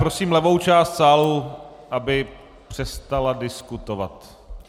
Prosím levou část sálu, aby přestala diskutovat.